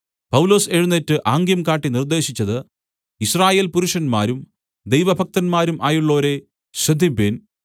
പൗലൊസ് എഴുന്നേറ്റ് ആംഗ്യം കാട്ടി നിർദ്ദേശിച്ചത് യിസ്രായേൽ പുരുഷന്മാരും ദൈവഭക്തന്മാരും ആയുള്ളോരേ ശ്രദ്ധിപ്പിൻ